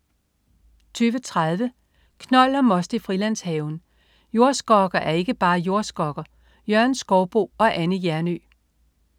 20.30 Knold og most i Frilandshaven. Jordskokker er ikke bare jordskokker. Jørgen Skouboe og Anne Hjernøe